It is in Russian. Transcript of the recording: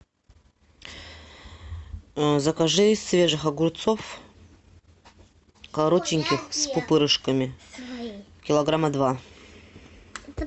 закажи свежих огурцов коротеньких с пупырышками килограмма два